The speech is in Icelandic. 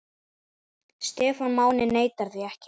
Stefán Máni neitar því ekki.